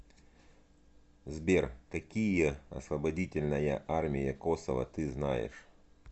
сбер какие освободительная армия косово ты знаешь